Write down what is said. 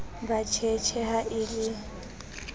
ba tjhetjhe ha e le